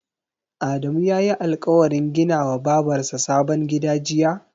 Adamu yayi alƙawarin gina wa Babar sa sabon gida jiya?